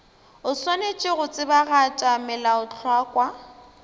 o swanetše go tsebagatša melaotlhakwa